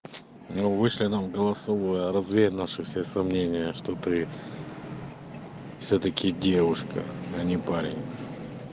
ну вышли нам голосовое развей наши все сомнения что ты всё-таки девушка а не парень